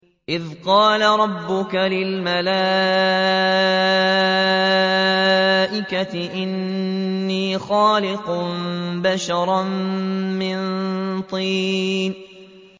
إِذْ قَالَ رَبُّكَ لِلْمَلَائِكَةِ إِنِّي خَالِقٌ بَشَرًا مِّن طِينٍ